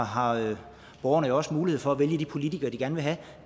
har borgerne også mulighed for at vælge de politikere de gerne vil have